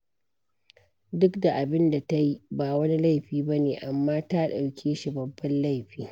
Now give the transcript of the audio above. Duk da abin da ta yi ba wani laifi ba ne, amma ta ɗauke shi babban laifi.